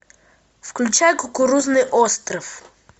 включай кукурузный остров